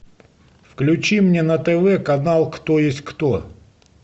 включи мне на тв канал кто есть кто